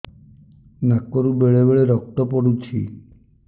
ନାକରୁ ବେଳେ ବେଳେ ରକ୍ତ ପଡୁଛି